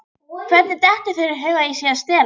Hvernig dettur þér í hug að ég sé að stela?